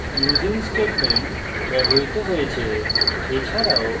using statement ব্যবহৃত হয়েছে